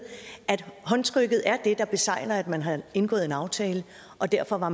at håndtrykket er det der besegler at man har indgået en aftale og derfor var